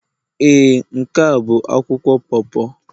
Ee, n'ke a bu akwụkwọ po po.